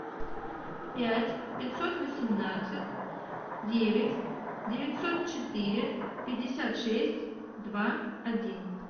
пять пятьсот восемнадцать девять девятьсот четыре пятьдесят шесть два один